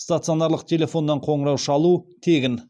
стационарлық телефоннан қоңырау шалу тегін